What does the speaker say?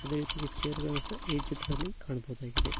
Chair ಗಳನ್ನು ಸಹ ಈ ಚಿತ್ರದಲ್ಲಿ ಕಾಣಬಹುದಾಗಿದೆ.